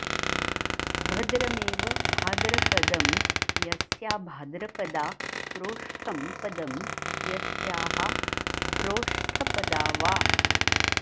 भद्रमेव भाद्र पदं यस्या भाद्रपदा प्रोष्ठं पदं यस्याः प्रोष्ठपदा वा